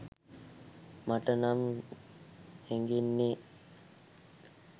මටනම් හැගෙන්නේ.